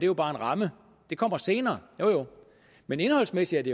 jo bare en ramme og det kommer senere jo jo men indholdsmæssigt